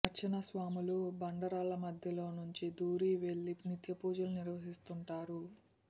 అర్చక స్వాములు బండరాళ్ల మధ్యలో నుంచి దూరి వెళ్లి నిత్యపూజలు నిర్వహిస్తుంటారు